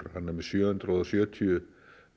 hann er með sjö hundruð og sjötíu